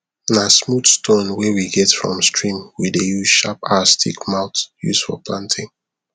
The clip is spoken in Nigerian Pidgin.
na smooth stone wey we get from stream we dey use sharp our stick mouth use for planting